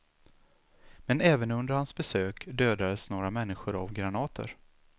Men även under hans besök dödades några människor av granater.